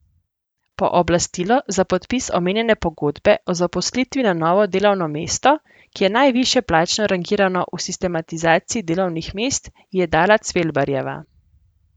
Pooblastilo za podpis omenjene pogodbe o zaposlitvi na novo delovno mesto, ki je najvišje plačno rangirano v sistematizaciji delovnih mest, ji je dala Cvelbarjeva.